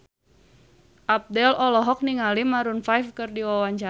Abdel olohok ningali Maroon 5 keur diwawancara